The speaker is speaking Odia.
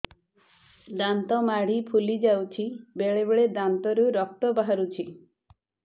ଦାନ୍ତ ମାଢ଼ି ଫୁଲି ଯାଉଛି ବେଳେବେଳେ ଦାନ୍ତରୁ ରକ୍ତ ବାହାରୁଛି